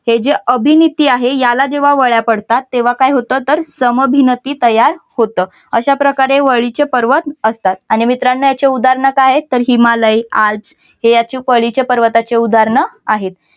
हे जे अभिनिती याला जेव्हा वळ्या पडतात तेव्हा काय होत तर समभिनति तयार होतं. अशा प्रकारे वलीचे पर्वत असतात. आणि मित्रांनो याचे उदाहरण काय आहे तर हिमालय आल्क याची वल्लीच्या पर्वताची उदाहरणे आहेत.